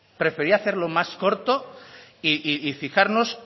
prefería hacerlo más corto y fijarnos